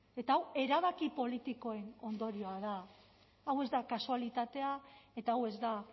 eta hau erabaki politikoen ondorioa da hau ez da kasualitatea eta hau ez da